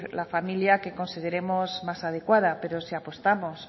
la familia que consideremos más adecuada pero si apostamos